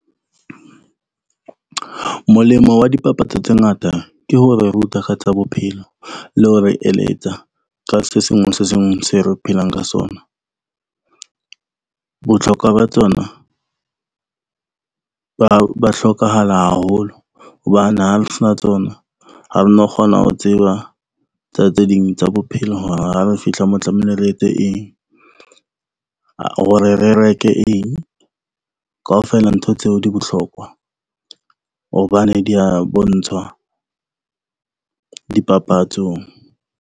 Molemo wa dipapatso tse ngata ke ho re ruta ka tsa bophelo, le ho re eletsa ka se sengwe se sengwe se re phelang ka sona. Botlhokwa ba tsona ba hlokahala haholo. Hobane ha sena tsona ha no kgona ho tseba tsa tse ding tsa bophelo. Hore ha re fihla mo tlamehile re etse eng hore re reke eng. Kaofela ntho tseo di botlhokwa hobane di ya bontshwa dipapatsong.